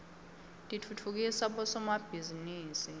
titfutfukisa bosomabhizinisi